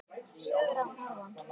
Sögur að norðan.